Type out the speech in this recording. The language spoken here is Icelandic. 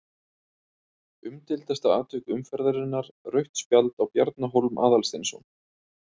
Umdeildasta atvik umferðarinnar: Rautt spjald á Bjarna Hólm Aðalsteinsson?